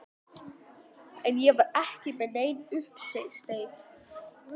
En ég var ekki með neinn uppsteyt.